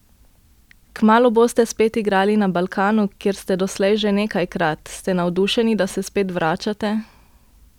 Kmalu boste spet igrali na Balkanu, kjer ste doslej že nekajkrat, ste navdušeni, da se spet vračate?